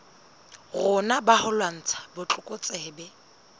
rona ba ho lwantsha botlokotsebe